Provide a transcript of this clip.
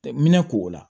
Minɛ ko o la